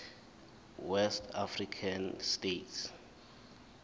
west african states